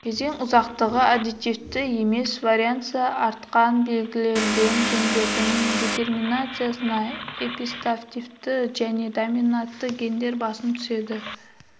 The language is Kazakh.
кезең ұзақтығы аддитивті емес варианса артқан берілген гендердің детерминациясы эпистативті және доминатты гендер басым түседі